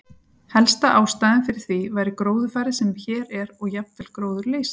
Helsta ástæðan fyrir því væri gróðurfarið sem hér er og jafnvel gróðurleysið.